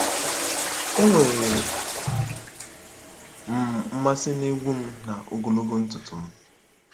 Enwere m mmasị n'egwú m na ogologo ntutu m.